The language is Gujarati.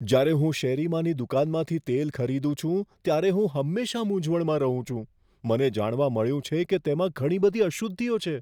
જ્યારે હું શેરીમાંની દુકાનમાંથી તેલ ખરીદું છું ત્યારે હું હંમેશા મૂંઝવણમાં રહું છું. મને જાણવા મળ્યું છે કે તેમાં ઘણી બધી અશુદ્ધિઓ છે.